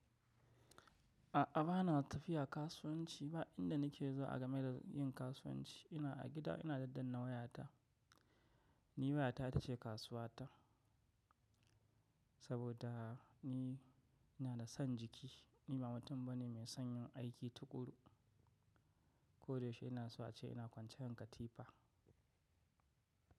A'a, ba na tafiya kasuwanci ba, inda nike zo a game da yin kasuwanci ina a gida ina daddanna wayata. Ni wayata ita ce kasuwata saboda ni ina da son jiki. Ni ba mutum bane mai son yin aiki tuƙuru. Ko da yaushe ina so ace ina kwanciya akan ka tipa.